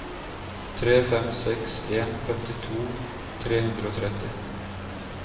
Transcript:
tre fem seks en femtito tre hundre og tretti